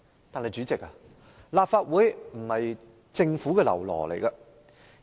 代理主席，立法會並非政府的嘍囉。